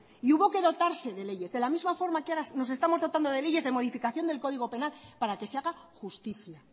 y hubo que dotarse de leyes de la misma forma que ahora nos estamos dotando de leyes de modificación del código penal para que se haga justicia